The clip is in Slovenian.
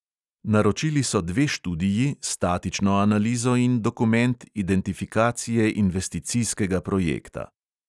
Naročili so dve študiji, statično analizo in dokument identifikacije investicijskega projekta.